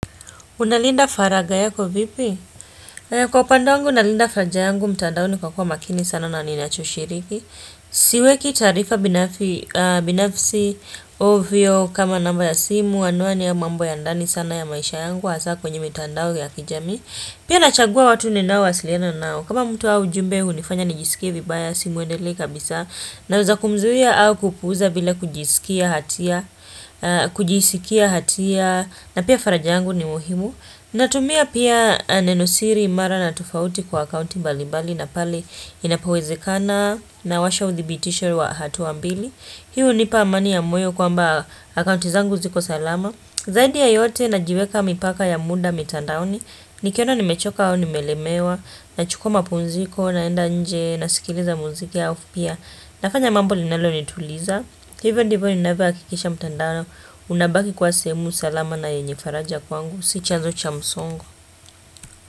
Unalinda faraga yako vipi? Kwa upandewangu nalinda farajangu, mtandaoni kwa kuwa makini sana na ninacho shiriki. Siweki taarifa binafisi ovyo kama namba ya simu, anwani ya mambo ya ndani sana ya maisha yangu, hasa kwenye mtandao ya kijami. Pia nachagua watu ni nao wasiliana nao. Kama mtu au ujumbe hunifanya nijisikie vibaya simuendele kabisa. Naweza kumzuia au kupuza bila kujisikia hatia. Kujisikia hatia. Na pia faraja yangu ni muhimu. Natumia pia nenosiri imara na tofauti kwa akaunti mbalibali na pale inapowezikana nawasha udhitisho wa hatua mbili. Hii hunipa amani ya moyo kwamba account zangu ziko salama. Zaidi yayote na jiweka mipaka ya muda mitandaoni. Nikiona nimechoka au nimelemewa nachukua mapunziko naenda nje na sikiliza muziki alafupia. Nafanya mambo linalo nituliza. Hivo ndivo ninavyohakikisha mtandano Unabaki kwa sehemu salama na yenye faraja kwangu Si chazo cha msongo.